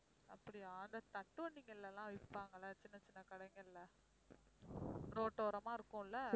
அப்படியா இந்த தட்டு வண்டிகள்ல எல்லாம் விப்பாங்கல்ல சின்ன சின்ன கடைகள்ல ரோட்டோரமா இருக்கும் இல்ல